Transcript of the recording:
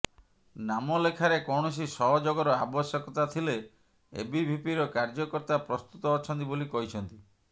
ନାମ ଲେଖାରେ କୌଣସି ସହଯୋଗର ଆବଶ୍ୟକତା ଥିଲେ ଏବିଭିପିର କାର୍ଯ୍ୟକର୍ତ୍ତା ପ୍ରସ୍ତୁତ ଅଛନ୍ତି ବୋଲି କହିଛନ୍ତି